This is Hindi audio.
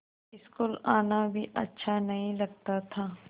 स्कूल आना भी अच्छा नहीं लगता था